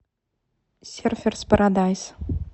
серферс парадайс